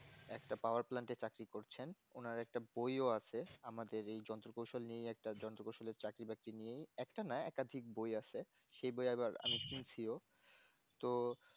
একটা power plant এ চাকরি করছেন ওনার একটা বইও আছে আমাদের এই যন্ত্র কৌশল নিয়ে একটা যন্ত্র কৌশলের চাকরি বাকরি নিয়েই একটা না একাধিক বই আছে সেই বই আবার আমি শুনছিও তো